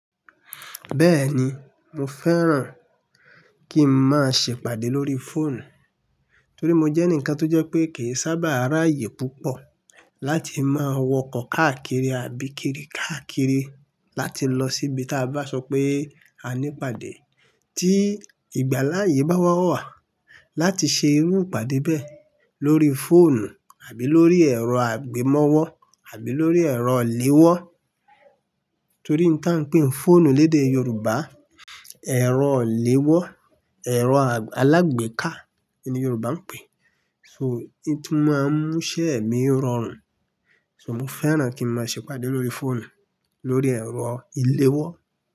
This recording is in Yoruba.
Bẹ́ẹ̀ni, mo fẹ́ràn kí n máa ṣe ìpàdé lórí fóònù. Torí mo jẹ́ ǹkan tó jẹ́ pé kì í sábà ráàyè púpọ̀ láti máa wọkọ̀ káàkiri àbí kiri káàkiri láti lọ síbi tí a bá sọ pé a ní ìpàdé tí ìgbà láàyè bá wá wà láti ṣe irú ìpàdé bẹ́ẹ̀ lórí fóònù àbí lórí ẹ̀rọ-àgb'emọ́wọ́ àbí lórí ẹ̀rọ léwọ́. Torí ǹkan pé fóònù lédè Yorùbá, ẹ̀rọ léwọ́, ẹ̀rọ alágbèéká ni Yorùbá ń pè é. So, ohun tí ń mú iṣẹ́ mi rọrùn, so mo fẹ́ràn kí n máa ṣe ìpàdé lórí fóònù, lórí ẹ̀rọ ìléwọ́.